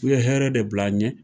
U ye hɛrɛ de bil'an ɲɛ.